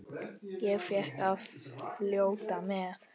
Ég fékk að fljóta með.